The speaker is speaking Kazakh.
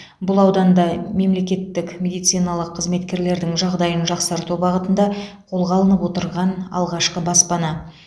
бұл ауданда мемлекеттік медициналық қызметкерлердің жағдайын жақсарту бағытында қолға алынып отырған алғашқы баспана